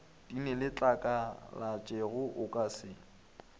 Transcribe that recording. di neletlakalatšego o ka se